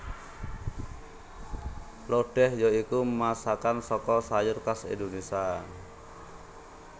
Lodéh ya iku masakan saka sayur khas Indonésia